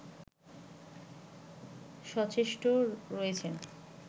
সচেষ্ট রয়েছেন